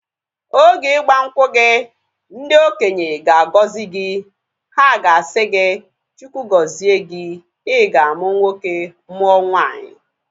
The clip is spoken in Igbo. Oge igbankwu gị, ndị okenye ga agọzi gị. Ha ga-asị gị, Chukwu gọzie gi. I ga amu nwoke mụọ nwanyi